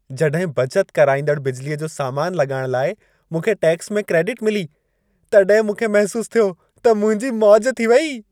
जॾहिं बचत कराईंदड़ बिजलीअ जो सामान लॻाइण लाइ मूंखे टैक्स में क्रेडिट मिली, तॾहिं मूंखे महिसूसु थियो त मुंहिंजी मौज थी वेई।